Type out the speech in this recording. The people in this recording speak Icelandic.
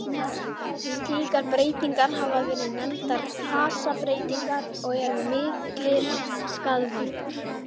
Slíkar breytingar hafa verið nefndar fasabreytingar og eru miklir skaðvaldar.